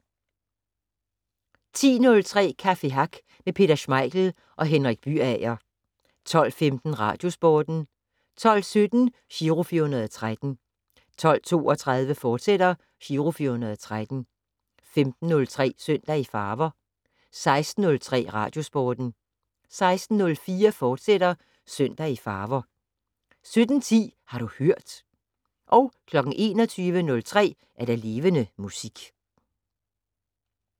10:03: Café Hack med Peter Schmeichel og Henrik Byager 12:15: Radiosporten 12:17: Giro 413 12:32: Giro 413, fortsat 15:03: Søndag i Farver 16:03: Radiosporten 16:04: Søndag i Farver, fortsat 17:10: Har du hørt 21:03: Levende Musik